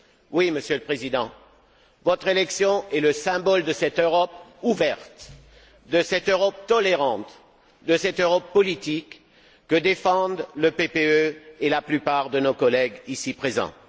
Oui, Monsieur le Président, votre élection est le symbole de cette Europe ouverte, de cette Europe tolérante, de cette Europe politique que défendent le PPE et la plupart de nos collègues ici présents.